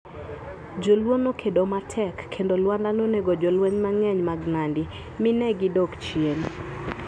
Jo Luo nokedo matek, kendo Lwanda nonego jolweny mang'eny mag Nandi, mi ne gidok chien.